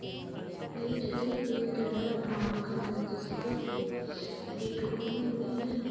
ये चित्र पे कनारा बैंक है जिसपे गेट खुली हुइ है।